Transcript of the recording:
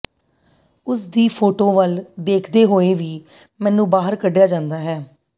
ਉਸ ਦੀ ਫੋਟੋ ਵੱਲ ਦੇਖਦੇ ਹੋਏ ਵੀ ਮੈਨੂੰ ਬਾਹਰ ਕੱਢਿਆ ਜਾਂਦਾ ਹੈ